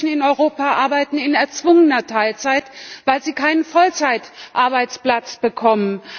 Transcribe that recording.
Viele Menschen in Europa arbeiten in erzwungener Teilzeit, weil sie keinen Vollzeitarbeitsplatz bekommen.